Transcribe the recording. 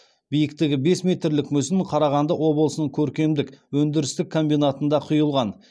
биіктігі бес метрлік мүсін қарағанды облысының көркемдік өндірістік комбинатында құйылған